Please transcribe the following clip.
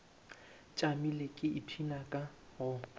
tšamile ke ipshina ka go